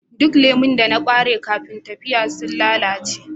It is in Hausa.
Duk lemu da na bari kafin tafiya sun lalace